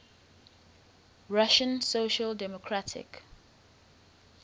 russian social democratic